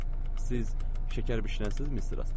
Siz şəkər bişirənsiniz, Mister Astley?